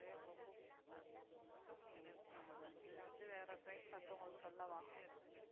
இல்லை வந்து வேற train பார்த்து உங்களுக்கு சொல்லவா